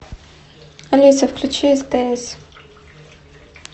алиса включи стс